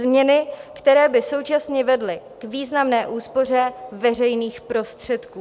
Změny, které by současně vedly k významné úspoře veřejných prostředků.